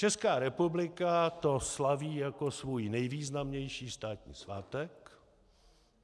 Česká republika to slaví jako svůj nejvýznamnější státní svátek.